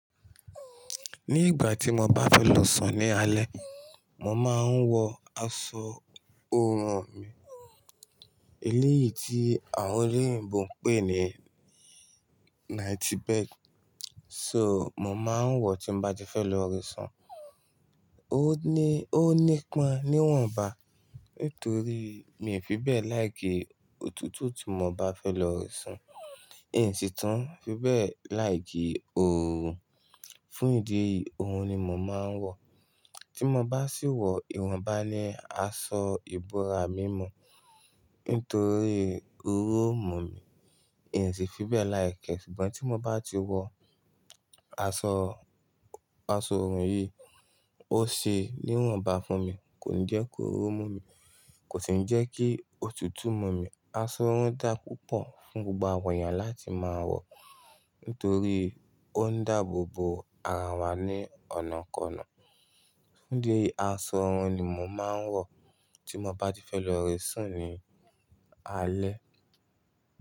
Ní ìgbà tí mo bá fẹ́ lọ sùn ní alẹ́, mo máa ń wọ aṣọ oorun mi. Eléyìí tí àwọn eleyin bo ń pè ní night bed. So, mo máa ń wọ tí mo bá ti fẹ́ lọ re sùn. Ó ní, ó nípọn níwọ̀nba. Nítorí mi ò fi bẹ́ẹ̀ like òtútù tí mo bá fẹ́ lọ re sùn. N ò sì tún fi bẹ́ẹ̀ like ooru. Fún ìdí èyí, ohun ni mo máa ń wọ. Tí mo bá sì wọ ìwọ̀nba ni aṣọ ìbora mímo. Nítorí ooru ó mú mi, n ò sì fi bẹ́ẹ̀ like ẹ. Ṣùgbọ́n tí mo bá ti wọ aṣọ, aṣọ oorun yìí, ó ṣe níwọ̀nba fún mi. Kò ní jẹ́ kí ooru ó mú mi. Kò sì ní jẹ́ kí òtútù mú mi. Aṣọ wọn dá púpọ̀ fún gbogbo àwọn èèyàn láti máa wọ. Nítorí ó ń dáàbò bo ara wa ní ọ̀nàkọnà. Ní ìdí èyí, aṣọ oorun ni mo máa ń wọ tí mo bá ti fẹ́ lọ re sùn ní alẹ́.